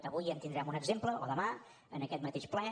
avui en tindrem un exemple o demà en aquest mateix ple